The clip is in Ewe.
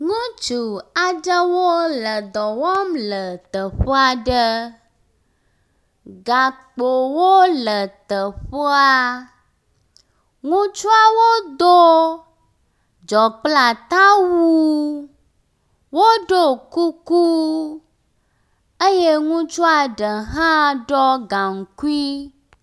Ŋutsu aɖewo ledɔ wɔm le teƒe aɖe. gakpowo le teƒea, ŋutsuawo do dzɔ kple atawu, woɖo kuku eye ŋutsua ɖe hã ɖɔ gankui